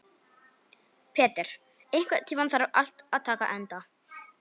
Petter, einhvern tímann þarf allt að taka enda.